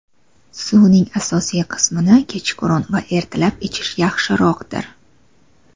suvning asosiy qismini kechqurun va ertalab ichish yaxshiroqdir.